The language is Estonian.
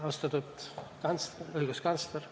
Austatud õiguskantsler!